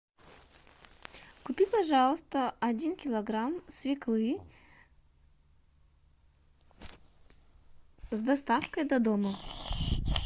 купи пожалуйста один килограмм свеклы с доставкой до дома